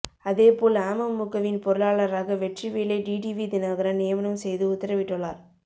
அதேபோல் அமமுகவின் பொருளாளராக வெற்றிவேலை டிடிவி தினகரன் நியமனம் செய்து உத்தரவிட்டுள்ளார்